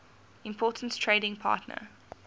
important trading partner